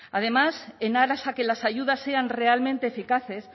además en aras a que las ayudas sean realmente eficaces